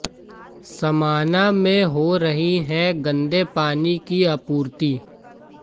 समाना में हो रही है गंदे पानी की आपूर्ति